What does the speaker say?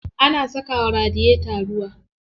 Ana saka wa radiyeta ruwa.